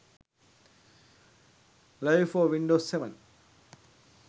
live for windows 7